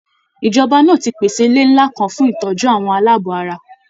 Ìjọba náà ti pèsè ilé ńlá kan fún ìtọ́jú àwọn aláàbọ̀ ara.